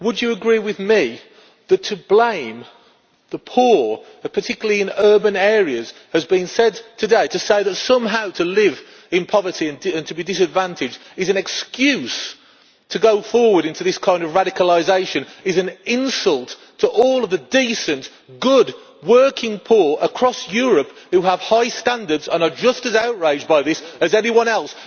Would you agree with me that to blame the poor particularly in urban areas, as has been said today and to say that somehow to live in poverty and to be disadvantaged is an excuse to go forward into this kind of radicalisation is an insult to all of the decent, good working poor across Europe who have high standards and are just as outraged by this as anyone else?